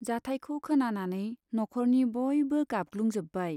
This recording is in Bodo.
जाथाइखौ खोनानानै न'ख'रनि बयबो गाबग्लुंजोब्बाय।